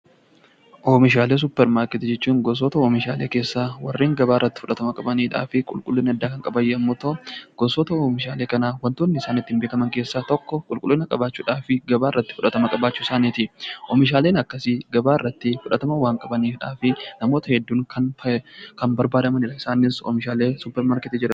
Oomishaalee suupparmaarkeetii jechuun gosoota oomishaalee keessaa warreen gabaa irratti fudhatama qabanidha. Gosota oomishaalee kanaa kan isaan ittiin beekaman keessaa tokko qulqullina qabaachuudhaa fi gabaa irratti fudhatama qabaachuu isaaniiti. Oomishaaleen akkasii gabaarratti fudhatama waan qabaniif namoota hedduun kan barbaadamanidha.